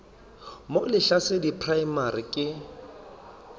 mo lehlasedi primary school ke